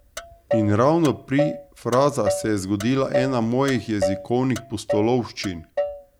In ravno pri frazah se je zgodila ena mojih jezikovnih pustolovščin.